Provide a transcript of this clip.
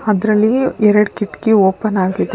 ಅದ್ರಲ್ಲಿ ಎರಡ್ ಕಿಟಕಿ ಓಪನ್ ಆಗಿದೆ.